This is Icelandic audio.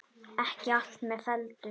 Ekki allt með felldu